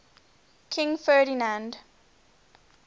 king ferdinand